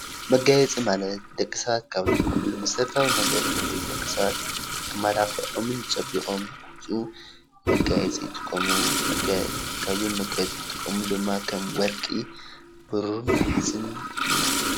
መጋየፂ ማለት ደቂ ሰባት ካብ ዝጥቀምሉ መሰረተዊ ነገር ደቂ ሰባት ተመላኪዖምን ፀቢቆምን ንክወፁ መጋየፂ ይጥቀሙ፡፡ ካብዞም መጋየፂ ዝጥቀሙ ድማ ወርቂ፣ ብሩር ንሓስን እዮም፡፡